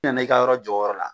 I nana i ka yɔrɔ jɔ o yɔrɔ la